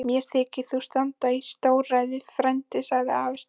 Mér þykir þú standa í stórræðum frændi, sagði afi Stefán.